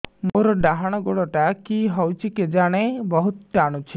ମୋର୍ ଡାହାଣ୍ ଗୋଡ଼ଟା କି ହଉଚି କେଜାଣେ ବହୁତ୍ ଟାଣୁଛି